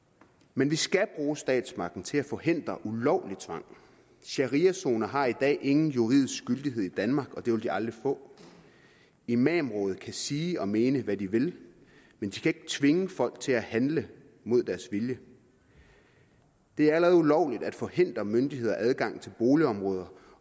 men vi skal bruge statsmagten til at forhindre ulovlig tvang shariazoner har i dag ingen juridisk gyldighed i danmark og det vil de aldrig få imamrådet kan sige og mene hvad de vil men de kan ikke tvinge folk til at handle mod deres vilje det er allerede ulovligt at forhindre myndigheders adgang til boligområder